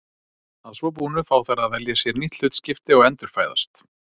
að svo búnu fá þær að velja sér nýtt hlutskipti og endurfæðast